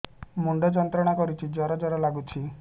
ମୁଣ୍ଡ ଯନ୍ତ୍ରଣା କରୁଛି ଜର ଜର ଲାଗୁଛି